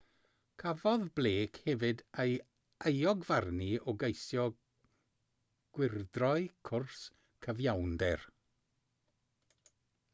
cafodd blake hefyd ei euogfarnu o geisio gwyrdroi cwrs cyfiawnder